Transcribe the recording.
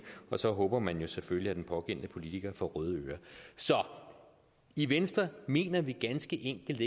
og så håber man jo selvfølgelig at den pågældende politiker får røde ører så i venstre mener vi ganske enkelt